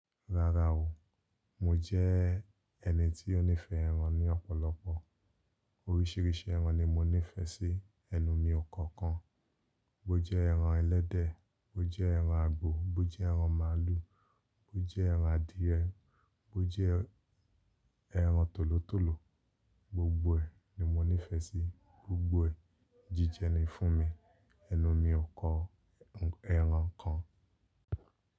Rárá o, mo jẹ́ ẹni tí ó nífẹ̀ẹ́ ẹran ní ọ̀pọ̀lọpọ̀. Oríṣiríṣi ẹran ni mo nífẹ̀ẹ́ sí, ẹnu mi ò kọ̀ kan. Bó jẹ́ ẹran ẹlẹ́dẹ̀, bó jẹ́ ẹran àgbò, bó jẹ́ ẹran màlúù, bó jẹ́ ẹran adìẹ, bó jẹ́ ẹran tòlótòló, gbogbo ẹ̀ ni mo nífẹ̀ẹ́ sí, gbogbo ẹ̀ jíjẹ ni fún mi. Ẹnu mi ò kọ ẹran kan.